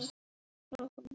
Að halda heit